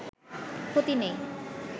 ক্ষতি নেই